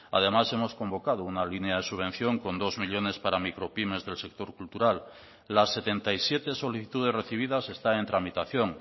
además hemos convocado una línea de subvención con dos millónes para micropymes del sector cultural las setenta y siete solicitudes recibidas están en tramitación